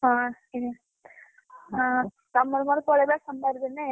ହଁ ପକେଇଦେମି, ହଁ ତମର ମୋର ପଳେଇବା ସୋମବାର ଦିନ ।